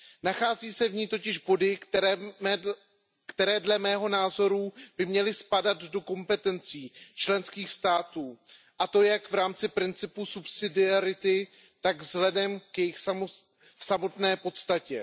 Nachází se v ní totiž body, které dle mého názoru by měly spadat do kompetencí členských států, a to jak v rámci principu subsidiarity, tak vzhledem k jejich samotné podstatě.